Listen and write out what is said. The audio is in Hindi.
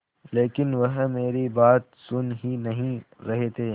लेकिन वह मेरी बात सुन ही नहीं रहे थे